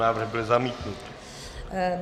Návrh byl zamítnut.